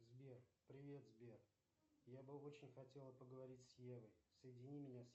сбер привет сбер я бы очень хотела поговорить с евой соедини меня с